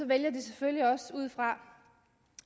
vælger de selvfølgelig også ud fra